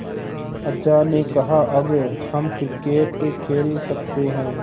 अज्जा ने कहा अब हम क्रिकेट खेल सकते हैं